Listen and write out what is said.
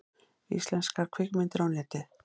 Íslenskar kvikmyndir á Netið